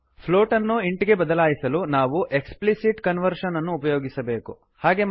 float ಪ್ಲೋಟನ್ನು int int ಗೆ ಬದಲಾಯಿಸಲು ನಾವು ಎಕ್ಸ್ಪ್ಲಿಸಿಟ್ ಕನ್ವರ್ಷನ್ ಎಕ್ಪ್ಲಿಸಿಟ್ ಕನ್ವರ್ಷನ್ ಅನ್ನು ಉಪಯೋಗಿಸಬೇಕು